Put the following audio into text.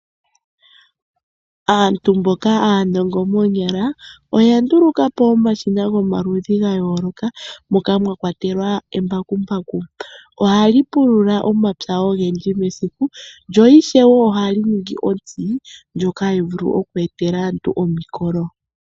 Aantu mboka aanongo moonyala, oya ndulukapo omashina gomaludhi ga yooloka, moka mwa kwatelwa embakumbaku. ohali pulula omapya ogendji mesiku, lyo ishewe ohali ningi otsi, ndjoka tayi vulu oku etela aantu omukolo.